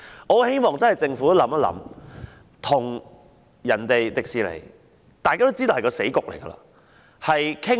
我十分希望政府考慮與華特迪士尼公司商討。